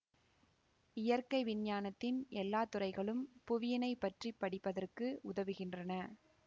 இயற்கை விஞ்ஞானத்தின் எல்லா துறைகளும் புவியினைப் பற்றி படிப்பதற்கு உதவுகின்றன